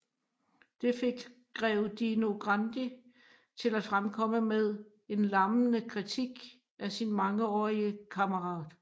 Det fik grev Dino Grandi til at fremkomme med en lammende kritik af sin mangeårige kammerat